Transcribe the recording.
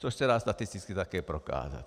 Což se dá statisticky také prokázat.